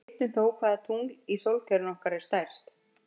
Við vitum þó hvaða tungl í sólkerfinu okkar er stærst.